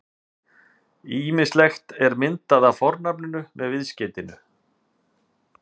Ýmislegur er myndað af fornafninu með viðskeytinu-